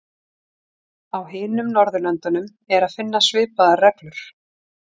Á hinum Norðurlöndunum er að finna svipaðar reglur.